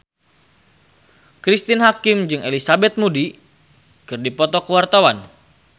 Cristine Hakim jeung Elizabeth Moody keur dipoto ku wartawan